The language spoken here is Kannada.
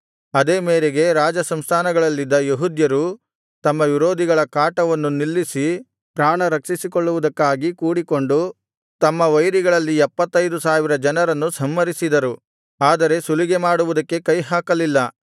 ಅದೇ ಮೇರೆಗೆ ರಾಜಸಂಸ್ಥಾನಗಳಲ್ಲಿದ್ದ ಯೆಹೂದ್ಯರು ತಮ್ಮ ವಿರೋಧಿಗಳ ಕಾಟವನ್ನು ನಿಲ್ಲಿಸಿ ಪ್ರಾಣ ರಕ್ಷಿಸಿಕೊಳ್ಳುವುದಕ್ಕಾಗಿ ಕೂಡಿಕೊಂಡು ತಮ್ಮ ವೈರಿಗಳಲ್ಲಿ ಎಪ್ಪತ್ತೈದು ಸಾವಿರ ಜನರನ್ನು ಸಂಹರಿಸಿದರು ಆದರೆ ಸುಲಿಗೆಮಾಡುವುದಕ್ಕೆ ಕೈ ಹಾಕಲಿಲ್ಲ